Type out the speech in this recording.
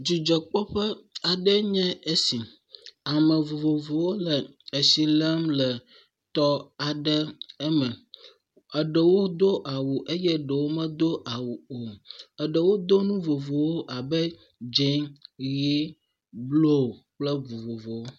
Dzidzɔkpɔƒe aɖe enye esi. Ame vovovowo le tsi lém le tɔ aɖe me. Eɖewo do awu eye eɖewo medo awu o. Eɖewo do nu vovowo abe dzẽ, ʋie, blu kple vovovowo.